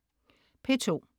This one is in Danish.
P2: